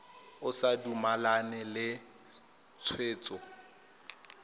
o sa dumalane le tshwetso